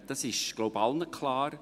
Das ist, glaube ich, allen klar.